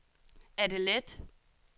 Adelaide